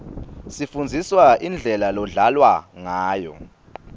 sifundziswa indlela lodlalwa ngayo